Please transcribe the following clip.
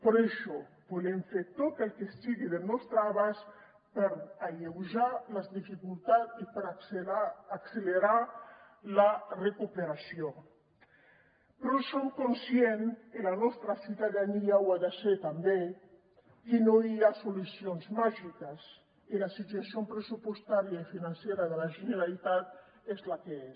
però això volem fer tot el que estigui al nostre abast per alleujar les dificultats i per accelerar la recuperació però som conscients i la nostra ciutadania ho ha de ser també que no hi ha solucions màgiques i la situació pressupostària i financera de la generalitat és la que és